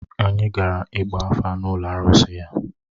Anyị gara ịgba afa n’ụlọ arụsị ya.